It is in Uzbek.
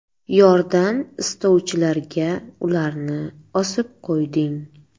Yordam istovchilarga ularni osib qo‘yding.